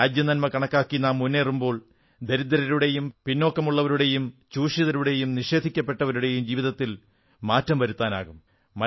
രാജ്യനന്മ കണക്കാക്കി നാം മുന്നേറുമ്പോൾ ദരിദ്രരുടെയും പിന്നാക്കമുള്ളവരുടെയും ചൂഷിതരുടെയും നിഷേധിക്കപ്പെട്ടവരുടെയും ജീവിതത്തിൽ മാറ്റം വരുത്താനാകും